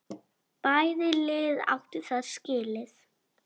Bæði lið áttu það skilið.